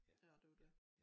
Ja det jo dét